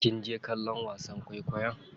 Kinje kallon wasan kwaikwayo?